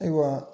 Ayiwa